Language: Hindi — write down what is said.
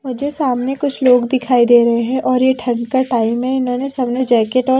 मुझे सामने कुछ लोग दिखाई दे रहे हैं और ये ठंड का टाइम है इन्होंने सामने जैकेट और--